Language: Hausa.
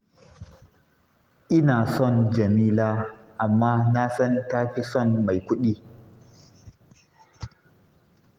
Ina son Jamila, amma na san ta fi son mai kuɗi